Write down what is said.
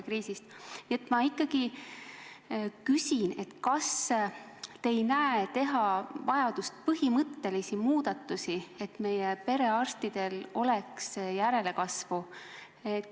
Nii et ma küsin, kas te ei näe vajadust teha põhimõttelisi muudatusi, et meie perearstidel oleks järelkasvu.